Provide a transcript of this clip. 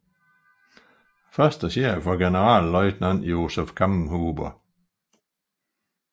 Første chef var Generalleutnant Josef Kammhuber